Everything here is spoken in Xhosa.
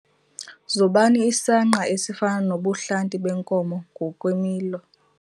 Zobani isangqa esifana nobuhlanti beenkomo ngokwemilo.